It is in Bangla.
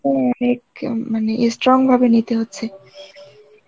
মানে strong ভাবে নিতে হচ্ছে.